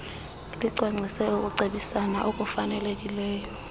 licwangcise ukucebisana okufanelekileyo